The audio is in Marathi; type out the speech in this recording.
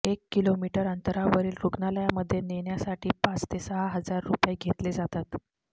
एक किलोमीटर अंतरावरील रुग्णालयामध्ये नेण्यासाठी पाच ते सहा हजार रुपये घेतले जातात